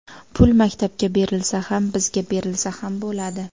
Pul maktabga berilsa ham, bizga berilsa ham bo‘ladi.